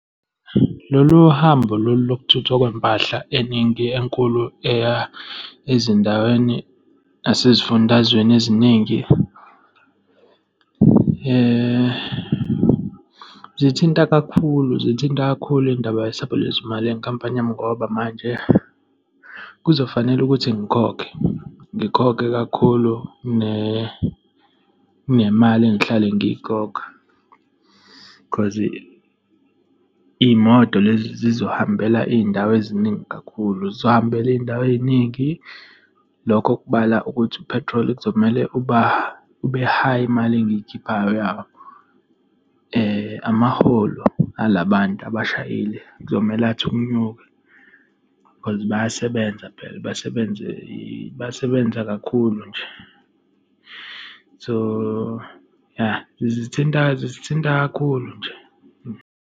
Lolu hambo lolu lokuthuthwa kwempahla eningi enkulu eya ezindaweni nasezifundazweni eziningi , zithinta kakhulu, zithinta kakhulu indaba yesabelozimali yenkampani yami, ngoba manje kuzofanele ukuthi ngikhokhe, ngikhokhe kakhulu kunemali engihlale ngiyikhokha, 'cause iy'moto lezi zizohambela iy'ndawo eziningi kakhulu, zizohambela iy'ndawo ey'ningi. Lokho kubala ukuthi u-petrol, kuzomele uba, ube high imali engiyikhiphayo yabo. Amaholo alabantu abashayeli kuzomele athe ukunyuka, cause bayasebenza phela, bayasebenza, bayasebenza kakhulu nje. So, ya zithinta, zithinta kakhulu nje.